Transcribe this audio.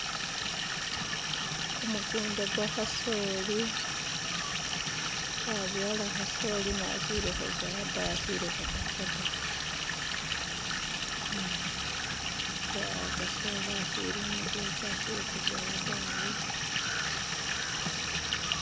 kumukunda kwakasoli babyala hasoli ne akyili huzowada akyili hutaho da kasoli akyili umujekye akyili kuzowa dawe